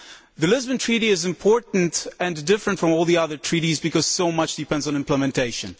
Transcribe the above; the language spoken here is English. The Lisbon Treaty is important and different from all the other treaties because so much depends on its implementation.